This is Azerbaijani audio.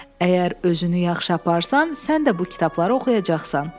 Əgər özünü yaxşı aparsan, sən də bu kitabları oxuyacaqsan.